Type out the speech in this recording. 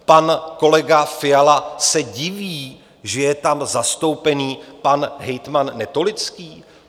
Pan kolega Fiala se diví, že je tam zastoupen pan hejtman Netolický?